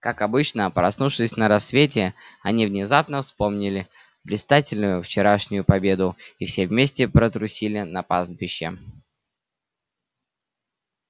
как обычно проснувшись на рассвете они внезапно вспомнили блистательную вчерашнюю победу и все вместе потрусили на пастбище